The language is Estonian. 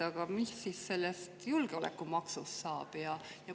Aga mis siis sellest julgeolekumaksust saab?